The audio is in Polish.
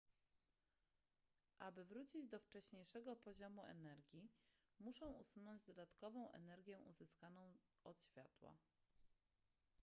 aby wrócić do wcześniejszego poziomu energii muszą usunąć dodatkową energię uzyskaną od światła